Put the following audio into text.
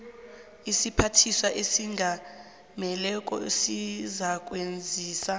isiphathiswa esingameleko sizakwazisa